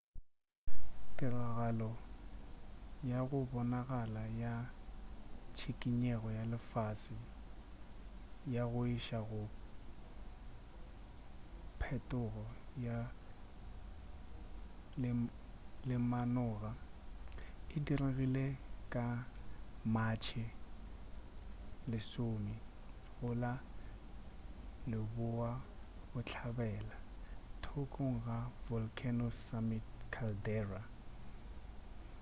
tiragalo ya go bonagala ya tšhikinyego ya lefase ya go iša go phetogo ya lemanoga e diregile ka matšhe 10 go la leboabohlabela thokong ga volcano's summit caldera